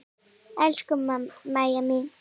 Elsku Mæja mín.